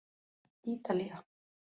Ítalía